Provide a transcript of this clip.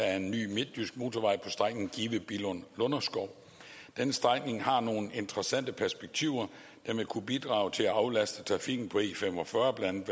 af en ny midtjysk motorvej på strækningen give billund lunderskov den strækning har nogle interessante perspektiver der vil kunne bidrage til at aflaste trafikken på e45 blandt